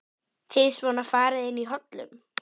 Bílar eru ræstir og vélarskröltið deyr inní veðurofsanum.